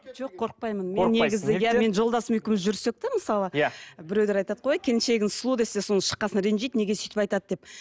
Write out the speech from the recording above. жоқ қорықпаймын мен негізі иә мен жолдасым екеуміз жүрсек те мысалы иә біреулер айтады ғой келіншегіңіз сұлу десе содан кейін шыққан соң ренжиді неге сөйтіп айтады деп